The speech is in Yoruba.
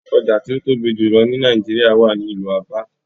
Oja ti o tobi julọ ni Naijiria wa ni ilu Aba